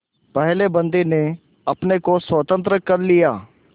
पहले बंदी ने अपने को स्वतंत्र कर लिया